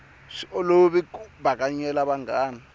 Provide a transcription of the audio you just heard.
swi olovi ku bakanyela vanghana